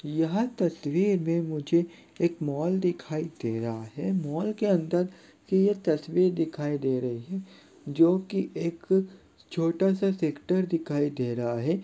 यह तस्वीर में मुझे एक मॉल दिखाई दे रहा है मॉल के अंदर की यह तस्वीर दिखाई दे रही है जो की एक छोटा-सा सेक्टर दिखाई दे रहा है।